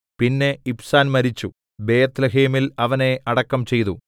പിന്നെ ഇബ്സാൻ മരിച്ചു ബേത്ത്ലേഹേമിൽ അവനെ അടക്കം ചെയ്തു